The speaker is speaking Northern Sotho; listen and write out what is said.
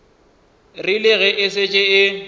rile ge e šetše e